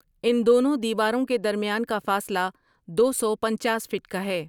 ان دونوں دیواروں کے درمیان کا فاصلہ دو سو پنچاس فٹ کا ہے ۔